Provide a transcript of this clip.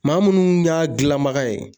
Maa minnu y'a dilanbaga ye